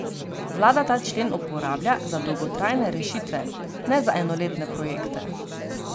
Vlada ta člen uporablja za dolgotrajne rešitve, ne za enoletne projekte.